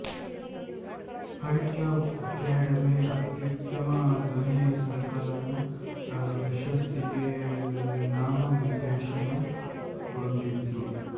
fight Club Academy ಅತ್ಯುತ್ತಮ ಧ್ವನಿ ಸಂಕಲನ ಪ್ರಶಸ್ತಿಗೆ ನಾಮನಿರ್ದೇಶನಗೊಂಡಿತ್ತು